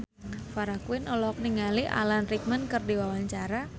Farah Quinn olohok ningali Alan Rickman keur diwawancara